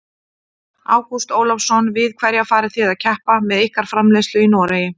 Ágúst Ólafsson: Við hverja farið þið að keppa með ykkar framleiðslu í Noregi?